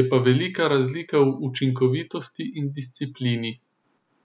je pa velika razlika v učinkovitost in v disciplini.